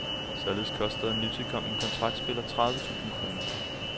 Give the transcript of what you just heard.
Således koster en nytilkommen kontraktspiller tredive tusind kroner.